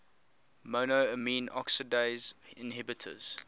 monoamine oxidase inhibitors